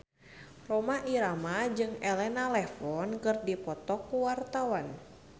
Rhoma Irama jeung Elena Levon keur dipoto ku wartawan